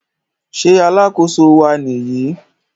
Ṣé alákóso wa Nìyí?